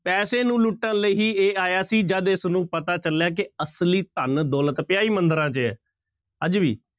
ਪੈਸੇ ਨੂੰ ਲੁੱਟਣ ਲਈ ਹੀ ਇਹ ਆਇਆ ਸੀ ਜਦ ਇਸਨੂੰ ਪਤਾ ਚੱਲਿਆ ਕਿ ਅਸਲੀ ਧਨ-ਦੌਲਤ ਪਿਆ ਹੀ ਮੰਦਿਰਾਂ ਚ ਹੈ, ਅੱਜ ਵੀ।